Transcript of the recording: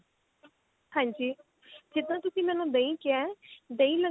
ਹਾਂਜੀ ਜਿੱਦਾਂ ਤੁਸੀਂ ਮੈਨੂੰ ਦਹੀਂ ਕਿਹਾ ਦਹੀਂ